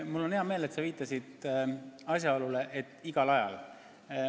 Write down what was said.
Mul on hea meel, et sa viitasid asjaolule, et eelnõu saab tagasi võtta igal ajal.